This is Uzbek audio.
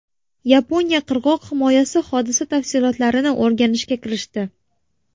Yaponiya qirg‘oq himoyasi hodisa tafsilotlarini o‘rganishga kirishdi.